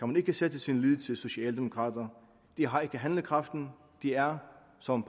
man ikke sætte sin lid til socialdemokrater de har ikke handlekraften de er som